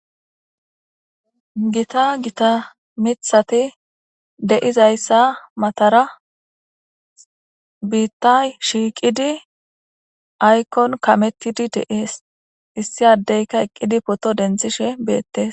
gita gita mithati deizayssa matara biitta shiiqidi aykon kamettidi deees issi addeyka eqqidi poto denthishe beettes